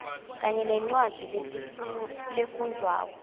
kanye nencwadzi lefundvwako